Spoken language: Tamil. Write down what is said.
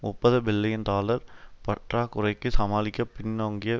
முப்பது பில்லியன் டாலர் பற்றாக்குறைக்கு சமாளிக்க பின்னோங்கிய